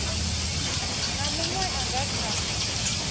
na muṅwe a nga kha